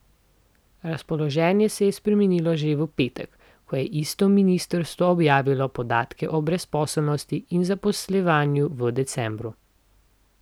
Razpoloženje se je spremenilo že v petek, ko je isto ministrstvo objavilo podatke o brezposelnosti in zaposlovanju v decembru.